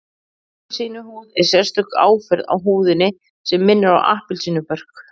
Appelsínuhúð er sérstök áferð á húðinni sem minnir á appelsínubörk